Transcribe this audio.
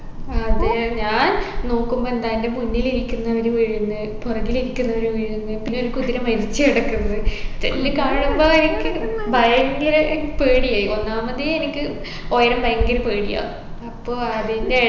അതെ ഞാൻ നോക്കുമ്പൊ എന്താ എൻെറ മുന്നിൽ ഇരിക്കുന്നവർ വീഴുന്ന് പുറകിലിരിക്കുന്നവർ വീഴുന്ന് പിന്നെ ഒരു കുതിര മരിച്ചു കിടക്കുന്ന് ഏർ ഇത് കാണുമ്പൊ എനിക്ക് ഭയങ്കര അഹ് പേടിയായി ഒന്നാമതെ എനിക്ക് ഒയരം ഭയങ്കര പേടിയാ അപ്പൊ അതിൻറെ